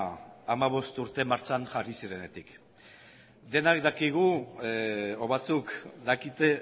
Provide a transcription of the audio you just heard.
hamabost urte martxan jarri zirenetik denak dakigu edo batzuk dakite